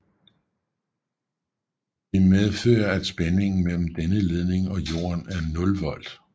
Det medfører at spændingen mellem denne ledning og jorden er 0 volt